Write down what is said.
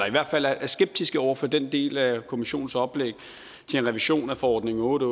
i hvert fald er skeptiske over for den del af kommissionens oplæg til en revision af forordning otte